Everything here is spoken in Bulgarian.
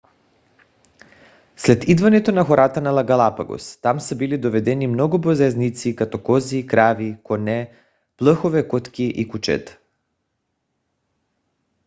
след идването на хората на галапагос там са били доведени много бозайници като кози крави коне плъхове котки и кучета